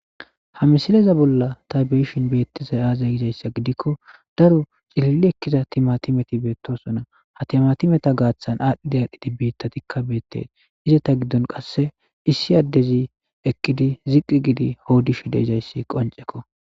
Ha misileza bolla ta beyoshi beetizay azee gizaysa gidiko daro cilili Eliza timatimeti beetosona ha timatometa gaathan adhi adhidi bittatika beetosona izeta gidon qse issi addezi eqidi ziqi giidi odishe de'izaysi qonceko.